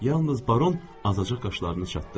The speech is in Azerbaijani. Yalnız Baron azacıq qaşlarını çatdı.